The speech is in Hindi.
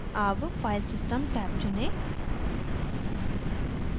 tab filesystem टैब चुनें